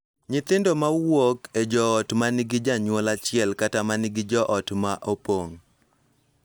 Nyithindo ma wuok e joot ma nigi janyuol achiel kata ma nigi joot ma opong�